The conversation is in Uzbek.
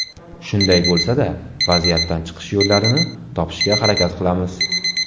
Shunday bo‘lsa-da, vaziyatdan chiqish yo‘llarini topishga harakat qilamiz.